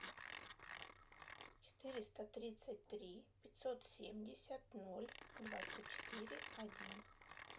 четыреста тридцать три пятьсот семьдесят ноль двадцать четыре один